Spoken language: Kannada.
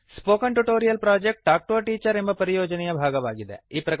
spoken tutorial project talk to a teacher ಎಂಬ ಪರಿಯೋಜನೆಯ ಭಾಗವಾಗಿದೆ